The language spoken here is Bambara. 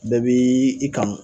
Bɛɛ bi i kanu